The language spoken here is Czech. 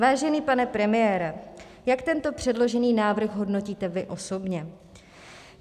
Vážený pane premiére, jak tento předložený návrh hodnotíte vy osobně?